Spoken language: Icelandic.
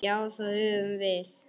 Já, það höfum við.